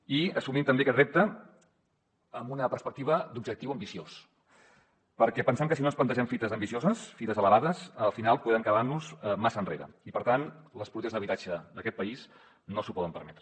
i assumim també aquest repte amb una perspectiva d’objectiu ambiciós perquè pensem que si no ens plantegem fites ambicioses fites elevades al final podem quedar nos massa enrere i per tant les polítiques d’habitatge d’aquest país no s’ho poden permetre